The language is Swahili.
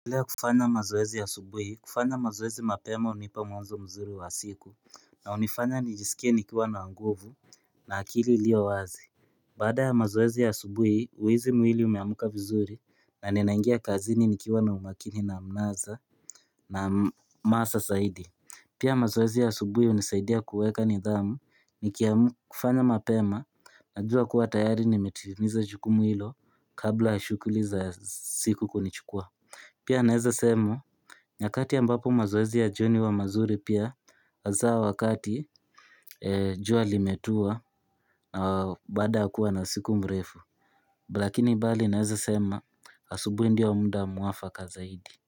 Napendelea kufanya mazoezi ya asubuhi kufanya mazoezi mapema hunipa mwanzo mzuri wa siku na hunifanya nijisikie nikiwa na nguvu na akili ilio wazi Baada ya mazoezi ya asubuhi huhisi mwili umeamka vizuri na ninaingia kazini nikiwa na umakini na mnaza na hamasa zaidi Pia mazoezi ya asubuhi hunisaidia kuweka nidhamu nikiam kufanya mapema najua kuwa tayari nimetimiza jukumu hilo kabla ya shughuli za siku kunichukua Pia naeza sema, nyakati ambapo mazoezi ya jioni huwa mazuri pia, hasa wakati jua limetua, baada ya kuwa na siku mrefu. Lakini bali naeza sema, asubuhi ndio wa muda mwafaka zaidi.